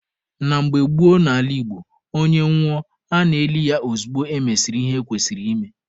Na mgbe gboo n'ala Igbo, onye nwụọ a na-eli ya ozugbo emesịrị ihe ekwesịrị ime